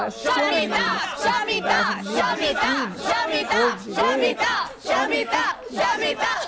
As pioneiras que estudavam medicina ou direito eram pouquíssimas.